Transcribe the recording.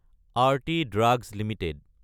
Arati drugs Ltd